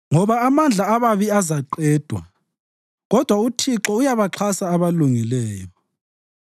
ngoba amandla ababi azaqedwa, kodwa uThixo uyabaxhasa abalungileyo.